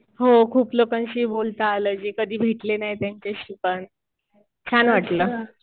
हो खूप लोकांशी बोलता आलं, जे कधी भेटले नाही त्यांच्याशी पण. छान वाटलं.